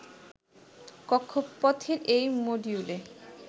কক্ষপথের এই মডিউলে